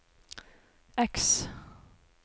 X